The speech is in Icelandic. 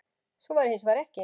Svo væri hins vegar ekki